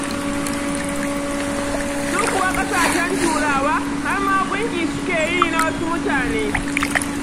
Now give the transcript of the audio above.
Su kuwa ƙasashen Turawa har ma gunki suke yi na wasu mutane.